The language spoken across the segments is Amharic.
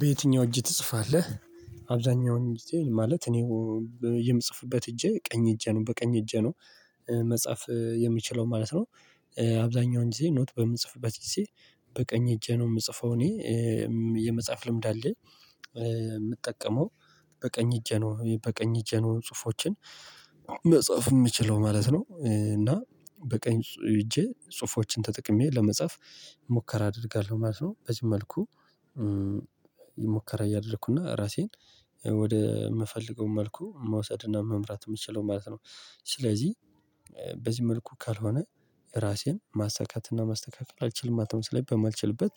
በየትኛው እጅ ትጽፋለህ? አብዛኛውን ጊዜ ማለት እኔው የምጽፍበት እጄ ቀኝ እጄ ነው በቀኝ እጄ ነው መጻፍ የሚችለው ማለት ነው። አብዛኛውን ጊዜ ኖት በምትጽፍበት ጊዜ በቀኝ እጄ ነው የምጽፈው እኔ። የመጽሐፍ ልምድ አለ የምጠቀመው በቀኝ እጄ ነው በቀኝ እጄ ነው ጽሁፎችን መጽሐፍ የምችለው ማለት ነው እና በቀኝ ሄጄ ጽሁፎችን ተጠቅሜ ለመጻፍ ሙከራ አደርጋለሁ ማለት ነው በዚህ መልኩ ሙከራ እያደረኩ እና ራሴን ወደ የምፈልገው መልኩ መውሰድ እና መምራት የምችለው ማለት ነው። ስለዚህ በዚህ መልኩ ካልሆነ ራሴን ማሳካትና ማስተካከል አልችልም ማለት ነው። ስለዚህ በማልችልበት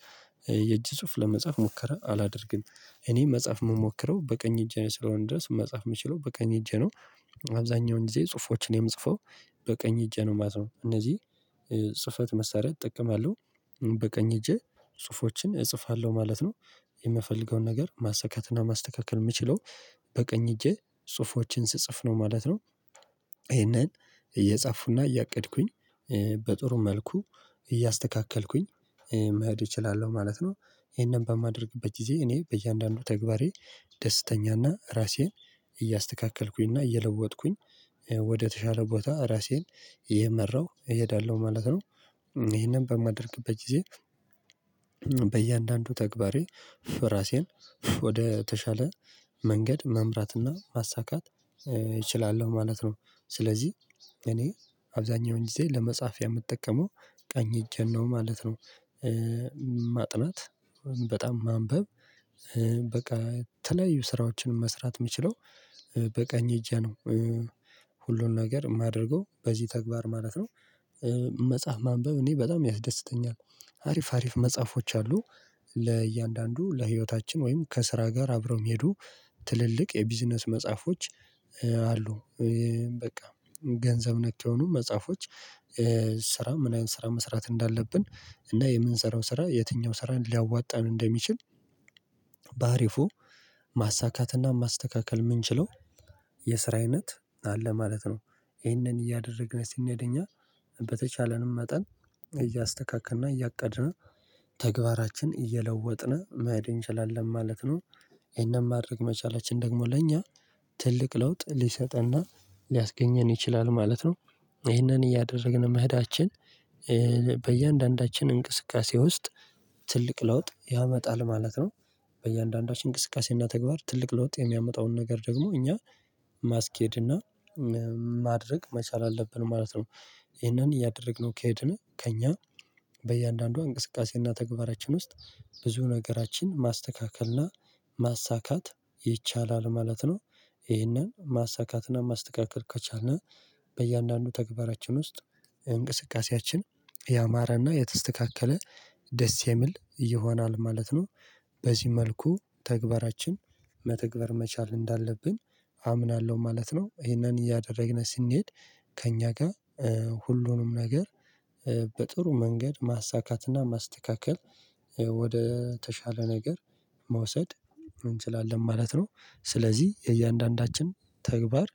የእጅ ጽሁፍ ለመጻፍ ሞከረ አላደርግም እኔ መጻፍ የምሞክረው በቀኝ እጅ ስለሆን ድረስ መጻፍ የምችለው በቀኝ እጅ ነው። አብዛኛውን ጊዜ ጽሁፎችን የምጽፈው በቀኝ እጅ ነው ማለት ነው እነዚህ ጽህፈት መሳሪያ አጠቀማለው በቀኝ እጄ ጽሁፎችን እጽፋለሁ ማለት ነው የምፈልገውን ነገር ማሰካትና ማስተካከል የምችለው በቀኝ እጄ ጽሁፎችን ስጽፍ ነው ማለት ነው። ይሄንን እየጻፉና እያቀድኩኝ በጥሩ መልኩ እያስተካከልኩኝ መሄድ እችላለሁ ማለት ነው። ይሄንን በማደርግበት ጊዜ እኔ በእያንዳንዱ ተግባሬ ደስተኛና ራሴን እያስተካከልኩኝ እና እየለወጥኩኝ ወደተሻለ ቦታ ራሴን ይመራው እሄዳለሁ ማለት ነው። ይሄንን በማደርግበት ጊዜ በእያንዳንዱ ተግባሬ ፍ ራሴን ወደ ተሻለ መንገድ መምራትና ማሳካት እችላለሁ ማለት ነው። ስለዚህ እኔ አብዛኛውን ጊዜ ለመጻፍ የምጠቀመው ቀኝ እጄን ነው ማለት ነው። ማጥናት በጣም ማንበብ በቃ ተለያዩ ስራዎችን መስራት የሚችለው በቀኝ እጄ ነው። ሁሉን ነገር የማደርገው በዚህ ተግባር ማለት ነው መጽሐፍ ማንበብ እኔ በጣም ያስደስተኛል አሪፍ አሪፍ መጽሐፎች አሉ። ለእያንዳንዱ ለህይወታችን ወይም ከስራ ጋር አብረው መሄዱ ትልልቅ የቢዝነስ መጽሐፎች አሉ። በቃ ገንዘብ ነክ የሆኑ መጽሐፎች ስራ ምን ያህል ስራ መስራት እንዳለብን እና የምንሰራው ስራ የትኛው ስራን ሊያዋጣን እንደሚችል ባሪፉ ማሳካትና ማስተካከል የምንችለው የስራ አይነት አለ ማለት ነው ይህንን እያደረግን ስንሄድ እኛ በተቻለንም መጠን እያስተካከልንና እያቀድነው ተግባራችን እየለወጥን መሄድ እንችላለን ማለት ነው ይሄንን ማድረግ መቻላችን ደግሞ ለእኛ ትልቅ ለውጥ ሊሰጥና ሊያስገኘን ይችላል ማለት ነው ይሄንን እያደረግን መሄዳችን በእያንዳንዳችን እንቅስቃሴ ውስጥ ትልቅ ለውጥ ያመጣል ማለት ነው። በእያንዳንዳችን እንቅስቃሴና ተግባር ትልቅ ለውጥ የሚያመጣውን ነገር ደግሞ እኛ ማስኬድ እና ማድረግ መቻል አለብን ማለት ነው ይሄንን እያደረግነው ከሄድን ከእኛ በእያንዳንዱ እንቅስቃሴና ተግባራችን ውስጥ ብዙ ነገራችን ማስተካከልና ማሳካት ይቻላል ማለት ነው። ይሄንን ማሳካትና ማስተካከል ከቻልን በእያንዳንዱ ተግባራችን ውስጥ እንቅስቃሴያችን ያማሬና የተስተካከለ ደስ የሚል ይሆናል ማለት ነው። በዚህ መልኩ ተግባራችን መተግበር መቻል እንዳለብን አምናለሁ ማለት ነው ይሄንን እያደረግን ስንሄድ ከእኛ ጋር ሁሉንም ነገር በጥሩ መንገድ ማሳካትና ማስተካከል ወደ ተሻለ ነገር መውሰድ እንችላለን ማለት ነው። ስለዚህ አያንዳንዳችን ተግባር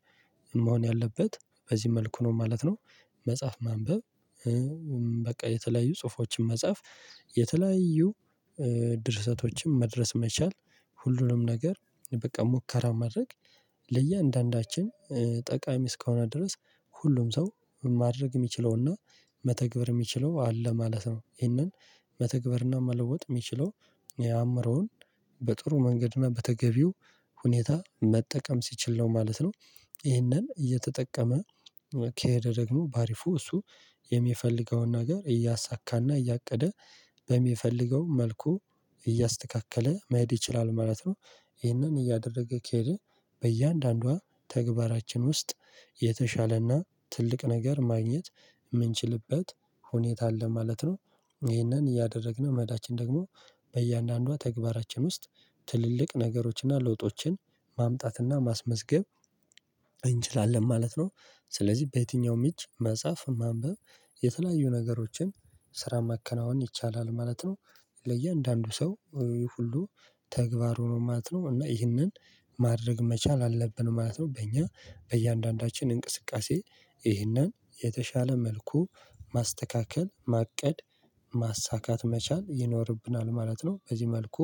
መሆን ያለበት በዚህ መልኩ ነው ማለት ነው መጽሐፍ ማንበብ በቃ የተለያዩ ጽሁፎችን መጽሐፍ የተለያዩ ድርሰቶችን መድረስ መቻል ሁሉንም ነገር በቃ ሙከራ ማድረግ ለእያንዳንዳችን ጠቃሚ እስከሆነ ድረስ ሁሉም ሰው ማድረግ የሚችለውና መተግበር የሚችለው አለ ማለት ነው። ይህንን መተግበርና መለወጥ የሚችለው የአምሮውን በጥሩ መንገድ እና በተገቢው ሁኔታ መጠቀም ሲችል ነው ማለት ነው ይህንን እየተጠቀመ ከሄደ ደግሞ በአሪፉ እሱ የሚፈልገውን ነገር እያሳካና እያቀደ በሚፈልገው መልኩ እያስተካከለ መሄድ ይችላል ማለት ነው። ይህንን እያደረገ ከሄደ በእያንዳንዷ ተግባራችን ውስጥ የተሻሌና ትልቅ ነገር ማግኘት የምንችልበት ሁኔታ አለ ማለት ነው። ይህንን እያደረግን መሄዳችን ደግሞ በእያንዳንዷ ተግባራችን ውስጥ ትልልቅ ነገሮችን እና ለውጦችን ማምጣት እና ማስመዝገብ እንችላለን ማለት ነው። ስለዚህ በየትኛውም እጅ መጽሐፍ ማንበብ የተለያዩ ነገሮችን ስራ ማከናወን ይቻላል ማለት ነው። ለእያንዳንዱ ሰው ሁሉ ተግባሩ ነው ማለት ነው። እና ይህንን ማድረግ መቻል አለብን ማለት ነው በእኛ በእያንዳንዳችን እንቅስቃሴ ይህንን የተሻለ መልኩ ማስተካከል ማቀድ ማሳካት መቻል ይኖርብናል ማለት ነው። በዚህ መልኩ